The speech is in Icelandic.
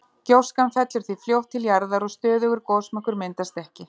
gjóskan fellur því fljótt til jarðar og stöðugur gosmökkur myndast ekki